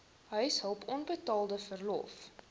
huishulp onbetaalde verlof